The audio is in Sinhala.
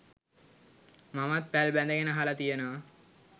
මමත් පැල් බැඳගෙන අහලා තියෙනවා